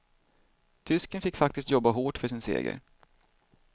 Tysken fick faktiskt jobba hårt för sin seger.